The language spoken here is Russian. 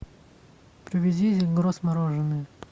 привези зельгрос мороженое